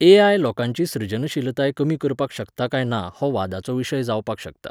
AI. लोकांची सृजनशीलताय कमी करपाक शकता काय ना हो वादाचो विशय जावपाक शकता